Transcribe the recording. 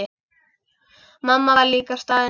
Mamma var líka staðin upp.